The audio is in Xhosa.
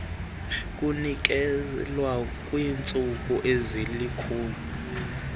kunikezelwa kwiintsuku ezilikhulu